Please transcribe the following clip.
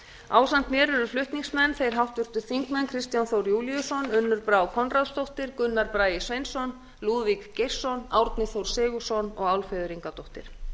ásamt mér eru flutningsmenn þeir háttvirtir þingmenn kristján þór júlíusson unnur brá konráðsdóttir gunnar bragi sveinsson lúðvík geirsson árni þór sigurðsson og álfheiður ingadóttir